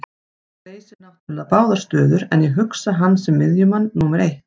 Hann leysir náttúrulega báðar stöður en ég hugsa hann sem miðjumann númer eitt.